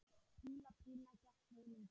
Píla Pína gekk vonum framar.